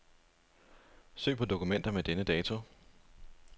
Søg på dokumenter med denne dato.